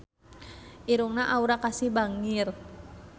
Irungna Aura Kasih bangir